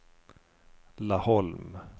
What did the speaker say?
Laholm